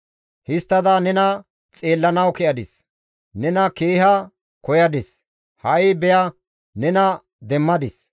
Histtada nena xeellanawu ke7adis; nena keeha koyadis; ha7i beya nena demmadis.